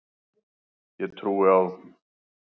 Ég trúi á trú.